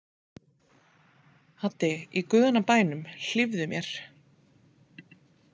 Haddi í guðanna bænum, hlífðu mér!